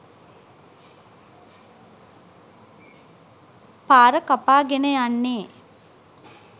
පාර කපා ගෙන යන්නේ.